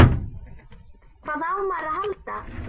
Hvað á maður að halda?